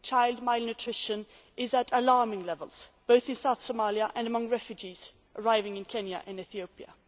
Child malnutrition is at alarming levels, both in southern Somalia and among refugees arriving in Kenya and Ethiopia.